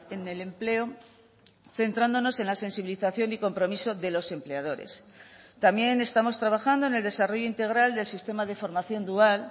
en el empleo centrándonos en la sensibilización y compromiso de los empleadores también estamos trabajando en el desarrollo integral del sistema de formación dual